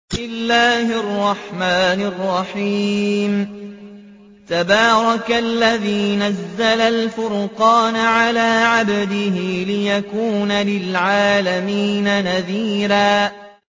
تَبَارَكَ الَّذِي نَزَّلَ الْفُرْقَانَ عَلَىٰ عَبْدِهِ لِيَكُونَ لِلْعَالَمِينَ نَذِيرًا